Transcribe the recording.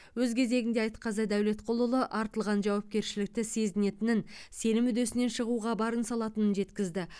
өз кезегінде айтқазы дәулетқұлұлы артылған жауапкершілікті сезінетінін сенім үдесінен шығуға барын салатынын жеткізді